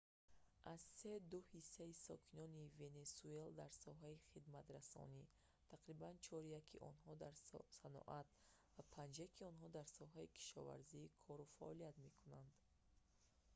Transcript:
аз се ду ҳиссаи сокинони венесуэла дар соҳаи хидматрасонӣ тақрибан чоряки онҳо дар саноат ва панҷяки онҳо дар соҳаи кишоварзӣ кору фаъолият мекунанд